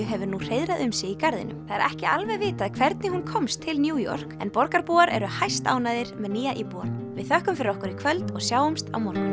hefur nú hreiðrað um sig í garðinum það er ekki alveg vitað hvernig hún komst til New York en borgarbúar eru hæstánægðir með nýja íbúann við þökkum fyrir okkur í kvöld og sjáumst á morgun